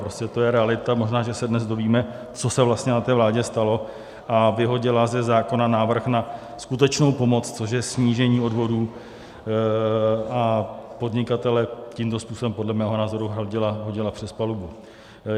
Prostě to je realita - možná, že se dnes dovíme, co se vlastně na té vládě stalo - a vyhodila ze zákona návrh na skutečnou pomoc, což je snížení odvodů, a podnikatele tímto způsobem podle mého názoru hodila přes palubu.